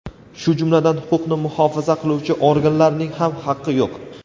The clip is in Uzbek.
shu jumladan huquqni muxofaza qiluvchi organlarning ham haqqi yo‘q.